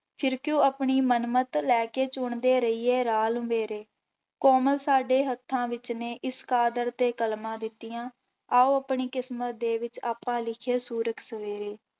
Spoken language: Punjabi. ਫਿਰ ਕਿਉਂ ਆਪਣੀ ਮਨ ਮਤ ਲੈ ਕੇ ਚੁਣਦੇ ਰਹੀਏ ਰਾਹ ਲੰਬੇਰੇ, ਕੋਮਲ ਸਾਡੇ ਹੱਥਾਂ ਵਿੱਚ ਨੇ ਇਸ ਕਾਦਰ ਤੇ ਕਲਮਾਂ ਦਿੱਤੀਆਂ, ਆਓ ਆਪਣੀ ਕਿਸਮਤ ਦੇ ਵਿੱਚ ਆਪਾਂ ਲਿਖੀਏ ਸੂਰਜ ਸਵੇਰੇ।